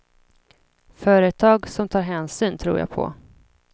Företag som tar hänsyn tror jag på.